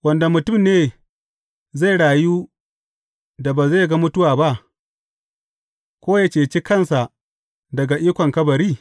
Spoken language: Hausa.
Wanda mutum ne zai rayu da ba zai ga mutuwa ba, ko yă cece kansa daga ikon kabari?